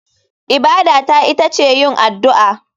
Ibada ta ita ce yin addu'a.